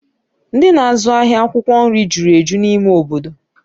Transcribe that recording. Ndị na-azụ ahịa akwụkwọ nri jụrụ eju n'ime obodo